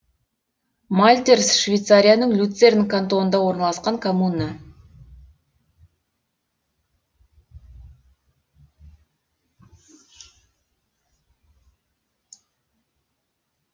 мальтерс швейцарияның люцерн кантонында орналасқан коммуна